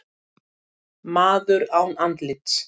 Maður án andlits